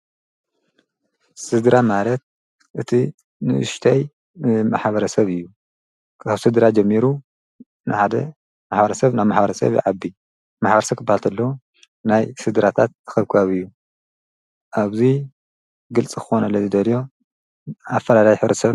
ስድራ ማለት እቲ ንእሽተይ ማሕበረሰብ እዩ። ካብ ስድራ ጀሚሩ ንሓደ ማሕበረሰብ ናብ ማሕበረሰብ ይዓቢ። ማሕበረሰብ ክበሃል ከሎ ናይ ስድራታት እክብካብ እዩ። ኣብዚ ግልፂ ክኮነለይ ዝደልዮ ኣፈላላይ ሕብረተሰብን .....?